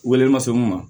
Wele ma se mun ma